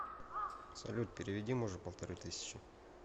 салют переведи мужу полторы тысячи